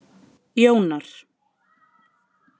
Jónar